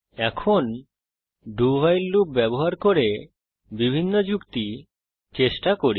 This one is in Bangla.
এখন do ভাইল লুপ ব্যবহার করে ভিন্ন যুক্তি চেষ্টা করি